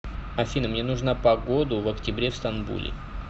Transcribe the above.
афина мне нужна погоду в октябре в стамбуле